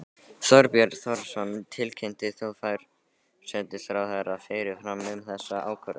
Þorbjörn Þórðarson: Tilkynntir þú forsætisráðherra fyrirfram um þessa ákvörðun?